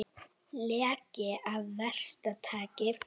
Leki af versta tagi